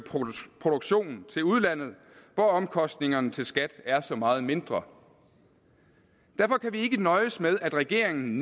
produktionen til udlandet hvor omkostningerne til skat er så meget mindre derfor kan vi ikke nøjes med at regeringen